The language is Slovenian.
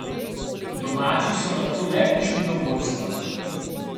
Domači so nato le prišli do vodstva.